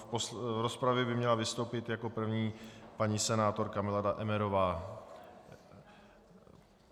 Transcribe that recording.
V rozpravě by měla vystoupit jako první paní senátorka Milada Emmerová.